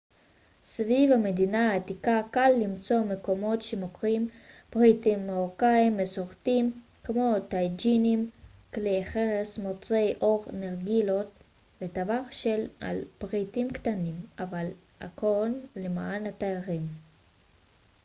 סביב מדינה העתיקה קל למצוא מקומות שמוכרים פריטים מרוקאים מסורתיים כמו טאג'ינים כלי חרס מוצרי עור נרגילות וטווח שלם של פריטים קטנים אבל הכל למען התיירים